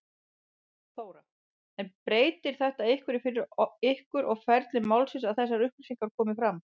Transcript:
Þóra: En breytir þetta einhverju fyrir ykkur og ferli málsins að þessar upplýsingar komi fram?